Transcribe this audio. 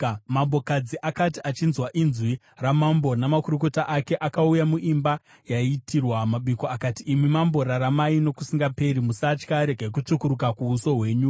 Mambokadzi akati achinzwa inzwi ramambo namakurukota ake, akauya muimba yaiitirwa mabiko, akati, “Imi mambo, raramai nokusingaperi! Musatya! Regai kutsvukuruka kuuso kwenyu!